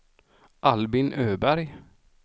Albin Öberg